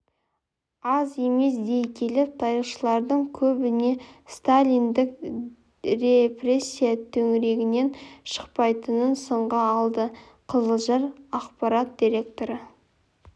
аз емес дей келіп тарихшылардың көбіне сталиндік репрессия төңірегінен шықпайтынын сынға алды қызылжар ақпарат директоры